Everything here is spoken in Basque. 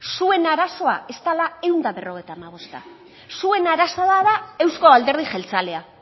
zuen arazoa ez dela ehun eta berrogeita hamabosta zuen arazoa da euzko alderdi jeltzalea